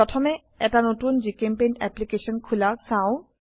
প্রথমে এটা নতুন জিচেম্পেইণ্ট অ্যাপ্লিকেশন খোলা চাও